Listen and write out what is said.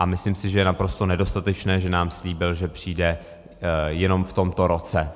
A myslím si, že je naprosto nedostatečné, že nám slíbil, že přijde jenom v tomto roce.